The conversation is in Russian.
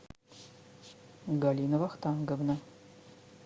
галина вахтанговна